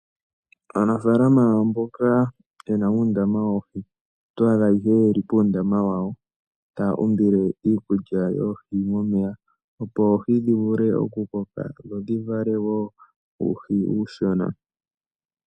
Aanafalama mboka yena uundama woohi, otwaa dha ihe yeli puundama wawo taa umbile iikulya yoohi momeya, opo oohi dhi vule okukoka dho dhi vale woo uuhi uushona.